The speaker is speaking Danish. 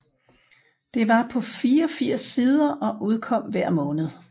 Det var på 84 sider og udkom hver måned